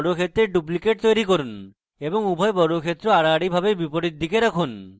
বর্গক্ষেত্রের duplicate তৈরী করুন এবং উভয় বর্গক্ষেত্র আড়াআড়ি বিপরীতদিকে রাখুন